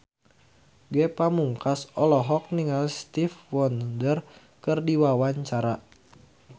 Ge Pamungkas olohok ningali Stevie Wonder keur diwawancara